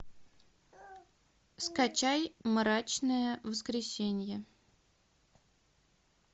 скачай мрачное воскресенье